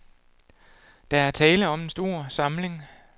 Der er tale om en stor samling.